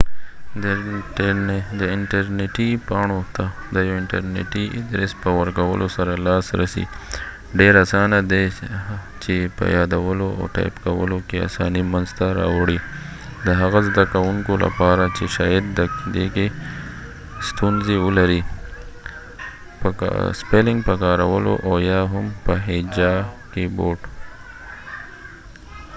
دي انټرنیټی پاڼو ته د یو انټرنیټی ادرس په ورکولو سره لاس رسی ډیر اسانه دي چې په یادولو او ټایپ کولو کې اسانی منځ ته راوړی د هغه زده کوونکولپاره چې شاید د کې پورډ keyboardپه کارولو او یا هم په حجا spellingکې ستونزی ولري